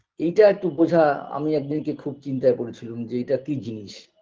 এটা একটু বোঝা আমি একদিনকে খুব চিন্তায় পড়েছিলুম যে এটা কি জিনিস